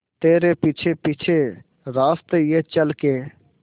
तेरे पीछे पीछे रास्ते ये चल के